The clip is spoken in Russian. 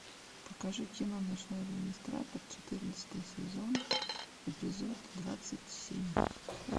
покажи кино ночной администратор четырнадцатый сезон эпизод двадцать семь